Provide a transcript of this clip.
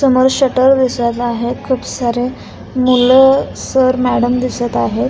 समोर शटर दिसत आहे खूप सारे मुलं सर मॅडम दिसत आहेत.